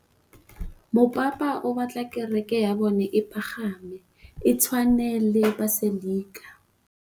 Mopapa o batla kereke ya bone e pagame, e tshwane le paselika.